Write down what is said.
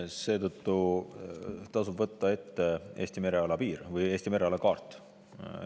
Seetõttu tasub võtta ette Eesti mereala kaart.